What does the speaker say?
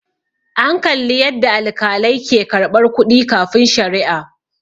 an Kalli yadda alkalai ke karɓar kuɗi kafin sharia